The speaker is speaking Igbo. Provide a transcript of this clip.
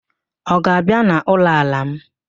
Ọ ga-abịa n'ụlọ ala m?